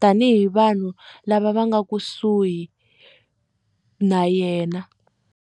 tanihi vanhu lava va nga kusuhi na yena.